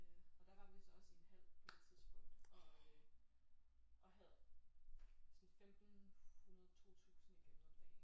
Øh og der var vi så også i en hal på det tidspunkt og og havde sådan 1500 2000 igennem om dagen